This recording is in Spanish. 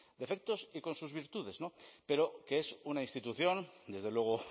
defectos y con sus virtudes pero que es una institución desde luego